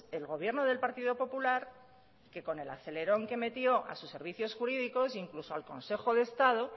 el gobierno del partido popular que con el acelerón que metió a sus servicios jurídicos incluso al consejo de estado